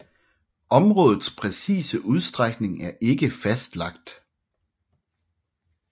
Områdets præcise udstrækning er ikke fastlagt